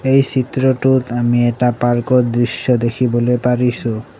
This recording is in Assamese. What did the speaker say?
এই চিত্ৰটোত আমি এটা পাৰ্কৰ দৃশ্য দেখিবলৈ পাৰিছোঁ।